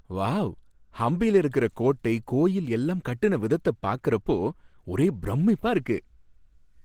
Wow! ஹம்பியில இருக்கிற கோட்டை, கோயில் எல்லாம் கட்டுன விதத்த பார்க்கறப்ப ஒரே பிரமிப்பா இருக்கு.